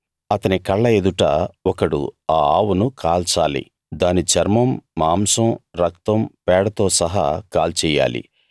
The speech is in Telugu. అతని కళ్ళ ఎదుట ఒకడు ఆ ఆవును కాల్చాలి దాని చర్మం మాంసం రక్తం పేడతో సహా కాల్చెయ్యాలి